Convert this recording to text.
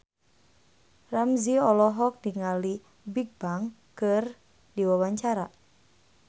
Ramzy olohok ningali Bigbang keur diwawancara